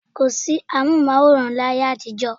Kò sí amóhùnmáwòrán ní ayé àtijọ́